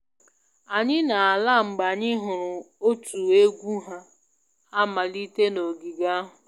Anyị na-ala mgbe anyị hụrụ otu egwu na-amalite n'ogige ahụ